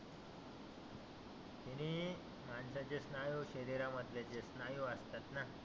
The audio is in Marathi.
त्यानी माणसाचे स्नायु शरीरा मधले जे स्नायु असतात ना